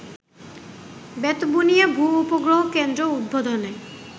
বেতবুনিয়া ভূ-উপগ্রহ কেন্দ্র উদ্বোধনে